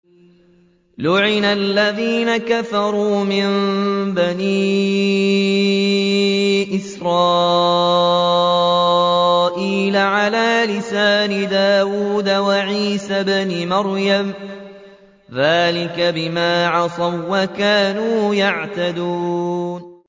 لُعِنَ الَّذِينَ كَفَرُوا مِن بَنِي إِسْرَائِيلَ عَلَىٰ لِسَانِ دَاوُودَ وَعِيسَى ابْنِ مَرْيَمَ ۚ ذَٰلِكَ بِمَا عَصَوا وَّكَانُوا يَعْتَدُونَ